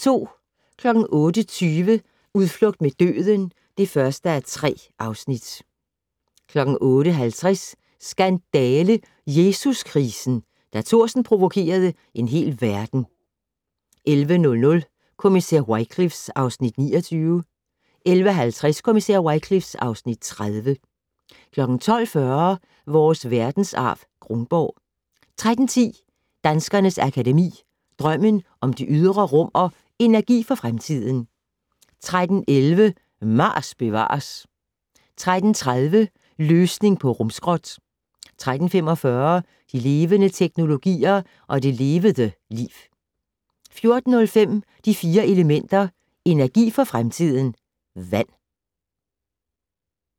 08:20: Udflugt mod døden (1:3) 08:50: Skandale - Jesuskrisen: Da Thorsen provokerede en hel verden 11:00: Kommissær Wycliffe (Afs. 29) 11:50: Kommissær Wycliffe (Afs. 30) 12:40: Vores verdensarv: Kronborg 13:10: Danskernes Akademi: Drømmen om det ydre rum & Energi for fremtiden 13:11: Mars bevares 13:30: Løsning på rumskrot 13:45: De levende teknologier - og det levede liv 14:05: De Fire Elementer - energi for fremtiden: Vand